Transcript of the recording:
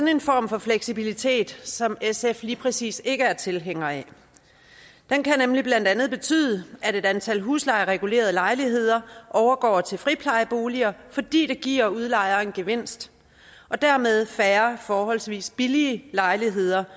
en form for fleksibilitet som sf lige præcis ikke er tilhænger af den kan nemlig blandt andet betyde at et antal huslejeregulerede lejligheder overgår til friplejeboliger fordi det giver udlejeren en gevinst og dermed færre forholdsvis billige lejligheder